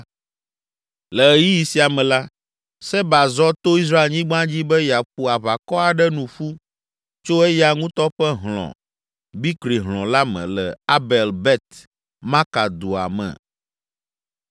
Le ɣeyiɣi sia me la, Seba zɔ to Israelnyigba dzi be yeaƒo aʋakɔ aɖe nu ƒu tso eya ŋutɔ ƒe hlɔ̃, Bikri hlɔ̃ la me le Abel Bet Maka dua me.